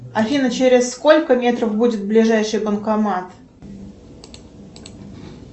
афина через сколько метров будет ближайший банкомат